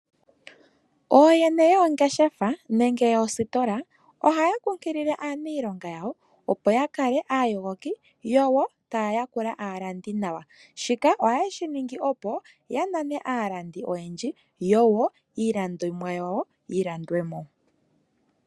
Oyene yongeshefa nenge yoostola ohaya kunkilile aanilonga yawo opo yakale a yogoki yowo taayakula alandi nawa , shika ohaye shiningi opo ya nane aalandi oyendji yowo iilandonwa yawo yilandwemo.